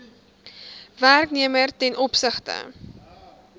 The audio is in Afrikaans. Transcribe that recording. werknemer ten opsigte